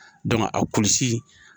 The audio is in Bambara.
a kulusi